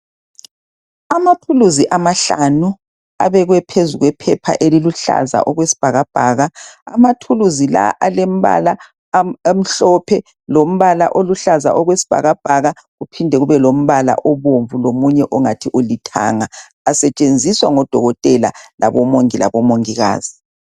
Amathuluzi amahlanu abekwe phezu kwephepha eliluhlaza okwesibhakabhaka amathuluzi la alembala emhlophe lombala oluhlaza okwesibhakabhaka kuphinde kube lombala obomvu kuphinde kube longathi ulithanga asetshenziswa ngodokoteka labomongikazi